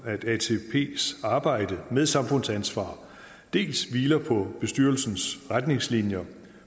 at atps arbejde med samfundsansvar dels hviler på bestyrelsens retningslinjer